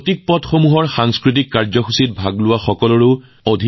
আমি দেখিলোঁ যে যিমানবোৰ প্ৰতীকপট উলিয়াইছিল সকলোতে মহিলা